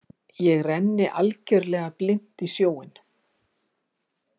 Ég renni algjörlega blint í sjóinn.